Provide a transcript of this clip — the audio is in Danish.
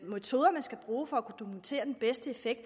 metoder man skal bruge for at kunne dokumentere den bedste effekt